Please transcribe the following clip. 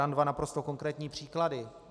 Dám dva naprosto konkrétní příklady.